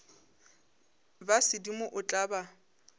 ba sedimo o tla ba